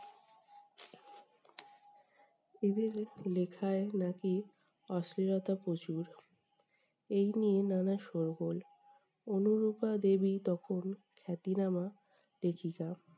এদের লেখায় নাকি অশ্লীলতা প্রচুর। এই নিয়ে নানা শোরগোল। অনুরূপা দেবী তখন খ্যাতিনামা লেখিকা।